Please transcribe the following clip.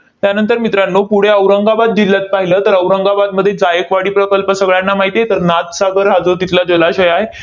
त्यानंतर मित्रांनो, पुढे औरंगाबाद जिल्ह्यात पाहिलं, तर औरंगाबादमध्ये जायकवाडी प्रकल्प सगळ्यांना माहिती आहे. तर नाथसागर हा जो तिथला जलाशय आहे,